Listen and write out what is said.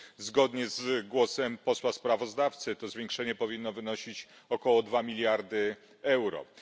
Zgodnie z głosem posła sprawozdawcy to zwiększenie powinno wynosić około dwa miliardy euro.